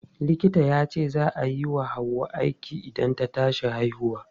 Likita yace za a yi wa Hauwa aiki idan ta tashi haihuwa.